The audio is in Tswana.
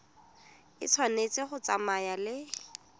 e tshwanetse go tsamaya le